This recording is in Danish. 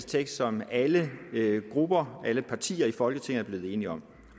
tekst som alle alle partier i folketinget er blevet enige om